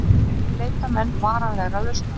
Enn leita menn varanlegrar lausnar